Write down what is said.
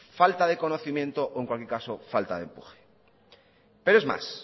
falta de conocimiento o en cualquier caso falta de empuje pero es más